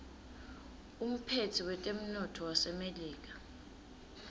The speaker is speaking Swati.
umphetsi wetemnotto wasemelika